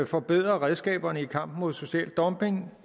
forbedrer redskaberne i kampen mod social dumping